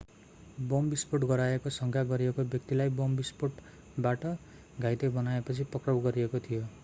bomb विस्फोट गराएको शंका गरिएको व्यक्तिलाई बम विष्फोटबाट घाइते बनाएपछि पक्राउ गरिएको थियो